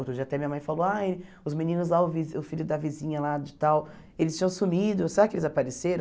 Outro dia até minha mãe falou, ai os meninos lá, o vi o filho da vizinha lá de tal, eles tinham sumido, será que eles apareceram?